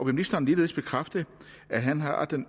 ministeren ligeledes bekræfte at han har det